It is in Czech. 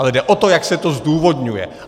Ale jde o to, jak se to zdůvodňuje.